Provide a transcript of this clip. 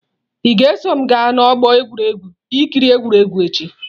Ị ga-eso m gaa n'ọgbọ egwuregwu ị kiri egwuregwu echi?